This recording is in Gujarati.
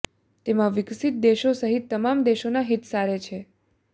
તેમાં વિકસીત દેશો સહિત તમામ દેશોના હિત સારે છે